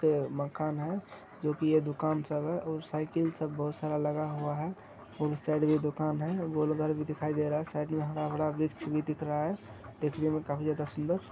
ते मकान है जो कि ये दुकान सब है और साइकिल सब बहुत सारा लगा हुआ है और उस साइड भी दुकान है गोलघर दिखाई दे रहा है साइड में हरा-भरा वृक्ष भी दिख रहा है देखने में काफी ज्यादा सुंदर --